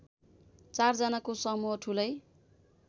चार जनाको समूह ठूलै